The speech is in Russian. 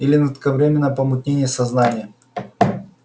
или на кратковременное помутнение сознания